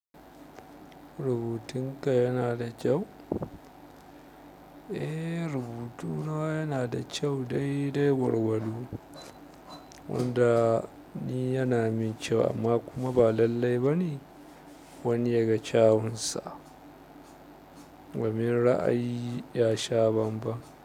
Rubutun ka yana da kyau? Eh rubutu na yana da kyau dai dai gwargwado wanda ni yana min kyau amma kuma ba lallai bane wani ya ga kyawunsa domin ra'ayi ya sha banban.